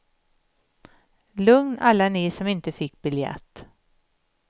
Lugn alla ni som inte fick biljett.